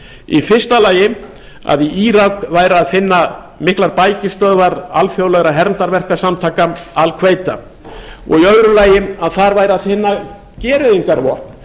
í fyrsta lagi að í írak væri að finna miklar bækistöðvar alþjóðlegra hermdarverkasamtaka al quita og í öðru lagi að þar væri að finna gereyðingarvopn